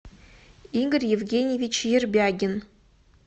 игорь евгеньевич ербягин